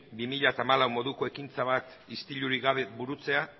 bi mila hamalau moduko ekintza bat istilurik gabe burutzea